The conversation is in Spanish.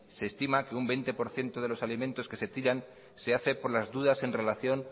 se estima que un veinte por ciento de los alimentos que se tiran se hacen por las dudas en relación